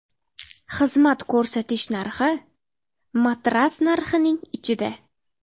Xizmat ko‘rsatish narxi matras narxining ichida.